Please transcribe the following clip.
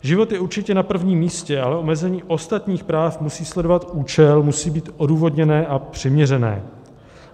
Život je určitě na prvním místě, ale omezení ostatních práv musí sledovat účel, musí být odůvodněné a přiměřené.